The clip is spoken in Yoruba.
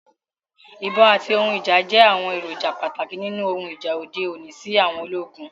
Ibon ati ohun ija jẹ awọn eroja pataki ninu ohun ija ode oni si àwọn ologun